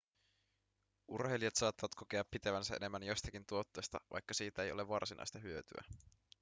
urheilijat saattavat kokea pitävänsä enemmän jostakin tuotteesta vaikka siitä ei ole varsinaista hyötyä